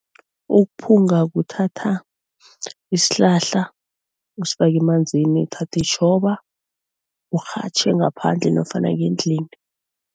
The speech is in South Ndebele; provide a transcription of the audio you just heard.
Ukuphunga kuthatha isihlahla usifake emanzini, uthathe itjhoba urhatjhe ngaphandle nofana ngendlini.